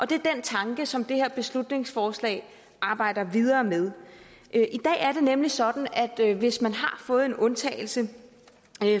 det er den tanke som det her beslutningsforslag arbejder videre med i dag er det nemlig sådan at hvis man har fået en undtagelse